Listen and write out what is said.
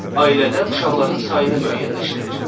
Ailədə uşaqların sayını müəyyənləşdirir.